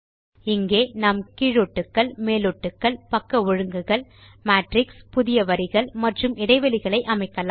இங்கே நாம் கீழொட்டுக்கள் மேலொட்டுக்கள் பக்க ஒழுங்குகள் மேட்ரிக்ஸ் புதிய வரிகள் மற்றும் இடைவெளிகளை அமைக்கலாம்